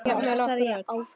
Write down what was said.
Jafnvel okkur öll.